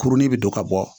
Kurunin bɛ don ka bɔ